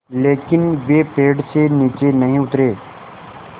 लेकिन वे पेड़ से नीचे नहीं उतरे